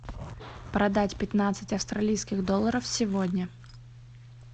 продать пятнадцать австралийских долларов сегодня